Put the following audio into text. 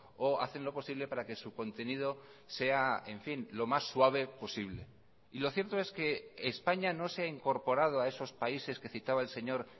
o hacen lo posible para que su contenido sea en fin lo más suave posible y lo cierto es que españa no se ha incorporado a esos países que citaba el señor